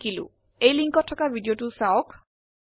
নিম্নলিখিত লিঙ্কত উপলব্ধ ভিডিওটি দেখক